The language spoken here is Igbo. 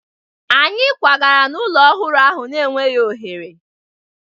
Anyị kwagara n'ụlọ ọhụrụ ahụ na-enweghị oghere